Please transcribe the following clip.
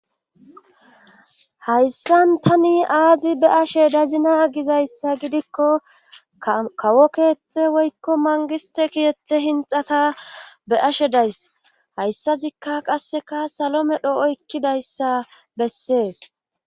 Hayssan tani aazi be ashe dazina gizayssa gidikko kawo keeththe woykko mangiste kiyethe hinxata be ashe days hayssazikka qasseka salome dho oykkidayssa bessee.